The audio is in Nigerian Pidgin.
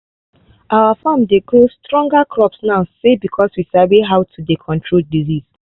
our farm dey grow stronger crops now say because we sabi now how to dey control disease